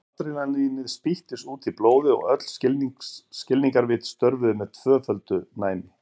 Adrenalínið spýttist út í blóðið og öll skilningarvit störfuðu með tvöföldu næmi.